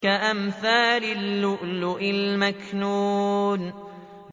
كَأَمْثَالِ اللُّؤْلُؤِ الْمَكْنُونِ